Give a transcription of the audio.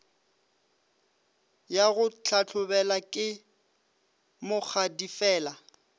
ya go hlahlobela ke mokgadifela